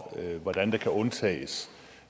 hvordan der kan undtages